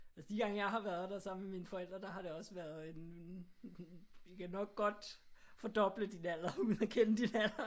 Altså de gange jeg har været der sammen med mine forældre der har det også været en vi kan nok godt fordoble din alder. Uden at kende din alder